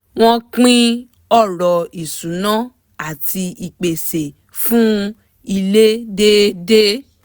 wọ́n pín ọ̀rọ̀ ìṣúná àti ìpèsè fúnn ilé déédéé